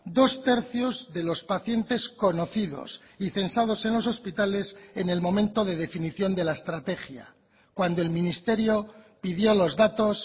dos tercios de los pacientes conocidos y censados en los hospitales en el momento de definición de la estrategia cuando el ministerio pidió los datos